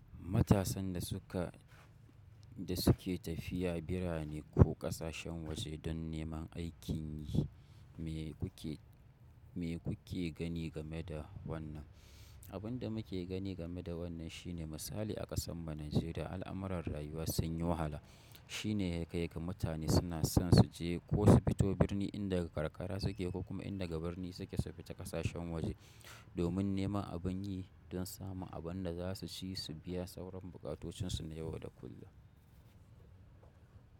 Matasan da su ka, da su ke tafiya birane ko ƙasashen waje don neman aikin yi, me kuke, me kuke gani game da wannan? Abun da muke gani game da wannan shine misali a ƙasan mu Nijeriya al'amuran rayuwa sun yi wahala. Shi ne yakaiga mutane suna son su je ko su fito birni inda ga karkara su ke ko kuma inda ga birni su ke su fita ƙasashen waje domin neman abin yi don samun abin da za su ci, su biya sauran bukatocin su na yau da kullum.